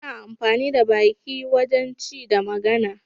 Ana amfani da baki wajen ci da magana.